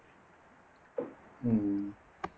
உம்